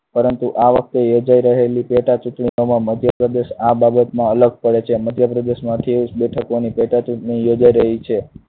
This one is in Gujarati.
પરંતુ આ વખતે યોજાઈ રહેલી પેટા ચુંટણીમાં મધ્યપ્રદેશ આ બાબતમાં અલગ પડે છે. મધ્યપ્રદેશમાં અઠ્યાવીસ બેઠકોની પેટા ચુંટણી યોજાઈ રહી છે.